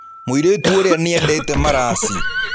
Mũirĩtu ũrĩa nĩ eendete maraci.